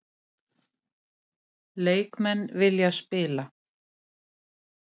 Leikmenn vilja spila